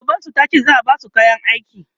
shugaban su tace za'a Basu kayan aiki